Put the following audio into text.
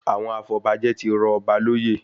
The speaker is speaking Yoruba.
Àwọn afọbajẹ tí rọ ọba lóyè